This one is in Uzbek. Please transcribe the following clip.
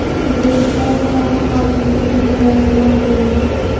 O‘zbekistonda yong‘in xavfsizligi kunlari e’lon qilindi.